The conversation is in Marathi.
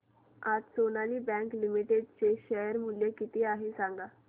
आज सोनाली बँक लिमिटेड चे शेअर मूल्य किती आहे सांगा